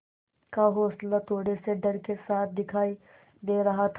का हौंसला थोड़े से डर के साथ दिखाई दे रहा था